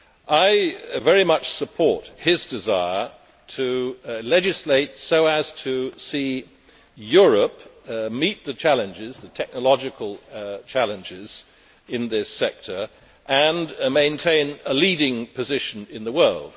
I very much support his desire to legislate so as to see Europe meet the technological challenges in this sector and maintain a leading position in the world.